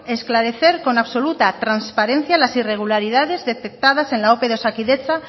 esclarecer con absoluta transparencia las irregularidades detectadas en la ope de osakidetza